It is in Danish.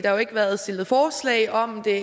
har jo ikke været stillet forslag om det